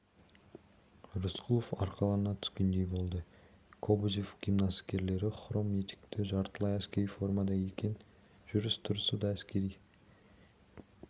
рысқұлов арқалана түскендей болды кобозев гимнастеркелі хром етікті жартылай әскери формада екен жүріс-тұрысы да әскери